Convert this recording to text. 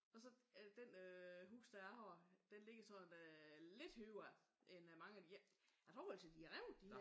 Og så det øh hus det jeg har det ligger sådan lidt højere end mange af de andre. Jeg tror altså de er revnet de her